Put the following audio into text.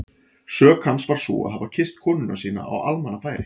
Sök hans var sú að hafa kysst konuna sína á almannafæri!